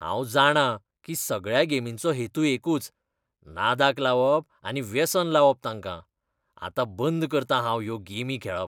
हांव जाणां की सगळ्या गेमींचो हेतू एकूच. नादाक लावप आनी वेसन लावप तांकां. आत्तां बंद करतां हांव ह्यो गेमी खेळप.